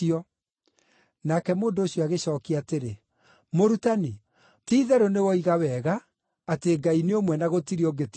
Nake mũndũ ũcio agĩcookia atĩrĩ, “Mũrutani, ti-itherũ nĩwoiga wega atĩ Ngai nĩ ũmwe na gũtirĩ ũngĩ tiga we!